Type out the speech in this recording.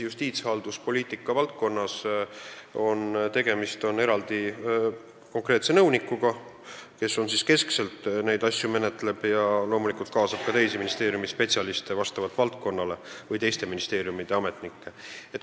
Justiitshalduspoliitika valdkonnas on eraldi nõunik, kes keskselt neid asju menetleb ja loomulikult kaasab valdkonnast olenevalt ka teisi spetsialiste või teiste ministeeriumide ametnikke.